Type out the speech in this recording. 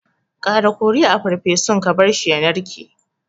Ƙara kori a farfesun ka barshi ya narke.